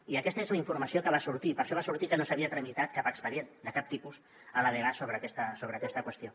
i aquesta és la informació que va sortir per això va sortir que no s’havia tramitat cap expedient de cap tipus a la dgas sobre aquesta qüestió